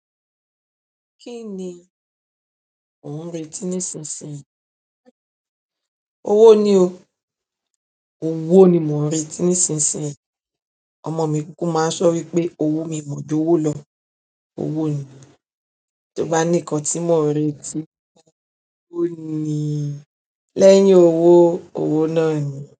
Kí ni ò ń retí nísinsìnyí? Owó ni o. Owo ni mo ń retí nísinsìnyí. Ọmọ mi kúkú máa ń sọ wípé owó mi mọ́ ju owo lọ. Owó ni. Tí o bá ní nkan tí mo retí, owó ni. Lẹ́yìn owó, owó náà ni.